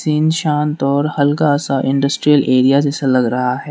इन शांत और हल्का सा इंडस्ट्रियल एरिया जैसा लग रहा है।